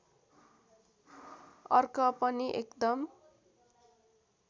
अर्क पनि एकदम